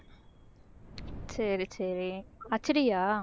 சரி சரி HD யா